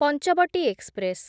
Panchavati express